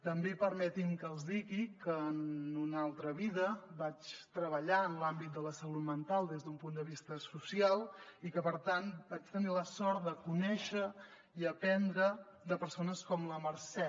també permetin me que els digui que en una altra vida vaig treballar en l’àmbit de la salut mental des d’un punt de vista social i que per tant vaig tenir la sort de conèixer i aprendre de persones com la mercè